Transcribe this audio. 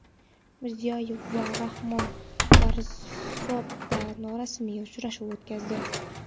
Mirziyoyev va Rahmon Varzobda norasmiy uchrashuv o‘tkazdi.